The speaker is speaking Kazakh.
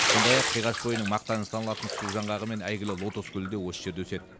сондай ақ қиғаш бойының мақтаны саналатын су жаңғағы мен әйгілі лотос гүлі де осы жерде өседі